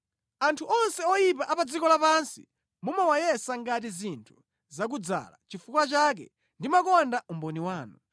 Anthu onse oyipa a pa dziko lapansi mumawayesa ngati zinthu zakudzala; nʼchifukwa chake ndimakonda umboni wanu.